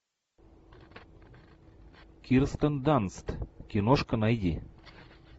кирстен данст киношка найди